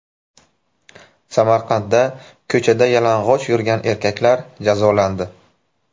Samarqandda ko‘chada yalang‘och yurgan erkaklar jazolandi.